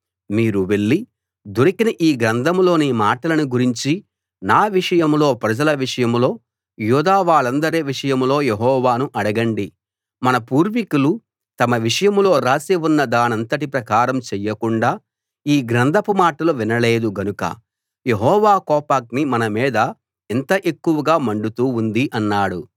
మీరు వెళ్లి దొరికిన ఈ గ్రంథంలోని మాటలను గురించి నా విషయంలో ప్రజల విషయంలో యూదా వాళ్ళందరి విషయంలో యెహోవాను అడగండి మన పూర్వికులు తమ విషయంలో రాసి ఉన్న దానంతటి ప్రకారం చెయ్యకుండా ఈ గ్రంథపు మాటలు వినలేదు గనుక యెహోవా కోపాగ్ని మన మీద ఇంత ఎక్కువగా మండుతూ ఉంది అన్నాడు